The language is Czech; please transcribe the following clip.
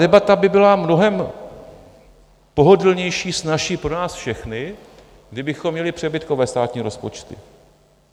Debata by byla mnohem pohodlnější, snazší pro nás všechny, kdybychom měli přebytkové státní rozpočty.